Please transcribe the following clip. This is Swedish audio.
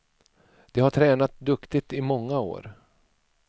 De har tränat duktigt i många år.